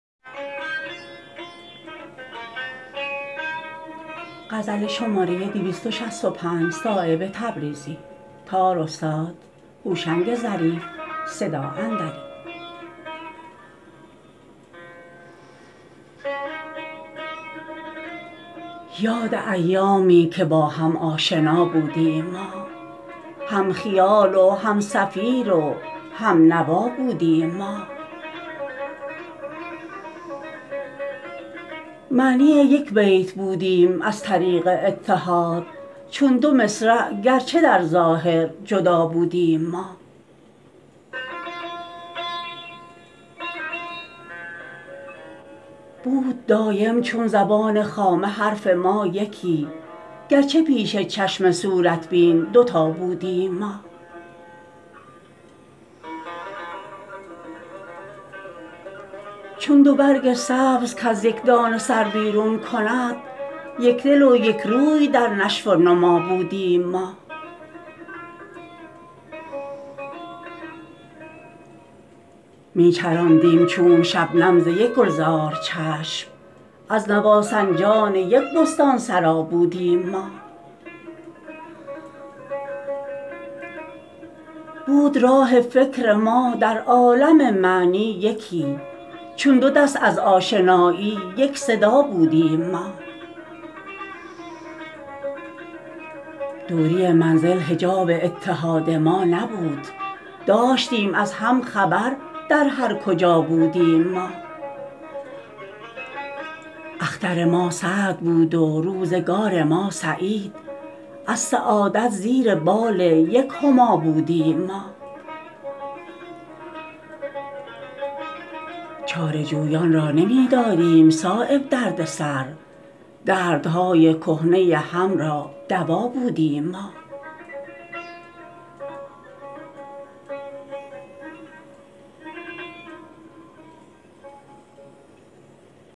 یاد ایامی که با هم آشنا بودیم ما هم خیال و هم صفیر و هم نوا بودیم ما معنی یک بیت بودیم از طریق اتحاد چون دو مصرع گرچه در ظاهر جدا بودیم ما بود دایم چون زبان خامه حرف ما یکی گرچه پیش چشم صورت بین دو تا بودیم ما چون دو برگ سبز کز یک دانه سر بیرون کند یک دل و یک روی در نشو و نما بودیم ما می چرانیدیم چون شبنم ز یک گلزار چشم از نواسنجان یک بستان سرا بودیم ما بود راه فکر ما در عالم معنی یکی چون دو دست از آشنایی یک صدا بودیم ما دوری منزل حجاب اتحاد ما نبود داشتیم از هم خبر در هر کجا بودیم ما اختر ما سعد بود و روزگار ما سعید از سعادت زیر بال یک هما بودیم ما چاره جویان را نمی دادیم صایب درد سر دردهای کهنه ی هم را دوا بودیم ما